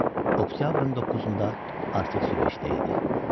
O, oktyabrın doqquzunda artıq Süveyşdə idi.